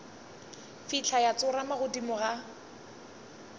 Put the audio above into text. fihla ya tsorama godimo ga